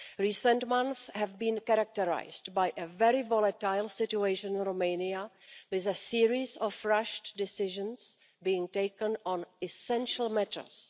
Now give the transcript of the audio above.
Recent months have been characterised by a very volatile situation in Romania, with a series of rushed decisions being taken on essential matters.